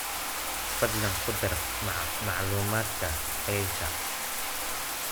Fadlan ku dar macluumaadkan faylka.